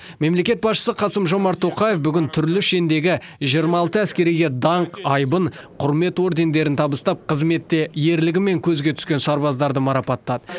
мемлекет басшысы қасым жомарт тоқаев түрлі шендегі жиырма алты әскериге даңқ айбын құрмет ордендерін табыстап қызметте ерлігімен көзге түскен сарбаздарды марапаттады